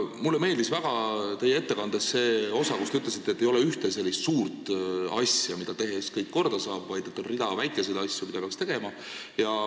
Mulle meeldis väga teie ettekande see osa, kus te ütlesite, et ei ole ühte suurt asja, mida tehes kõik korda saab, vaid on rida väikeseid asju, mida peaks tegema.